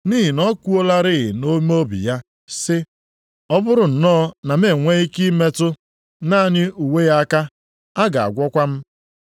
Nʼihi na o kwuolarị nʼime obi ya sị, “Ọ bụrụ nnọọ na m enwe ike metụ naanị uwe ya aka, a ga-agwọkwa m.”